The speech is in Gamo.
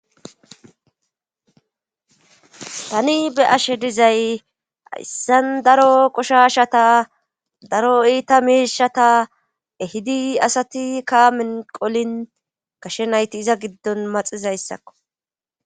Tani be ashe dizay ayssan daro qoshashata daro iita miishata ehidi asati kaamin qolin kashe nayti iza giddon maxizayssakko.